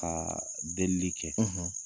Ka bɛli kɛ